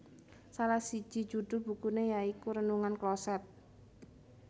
Salah siji judhul bukune ya iku Renungan Kloset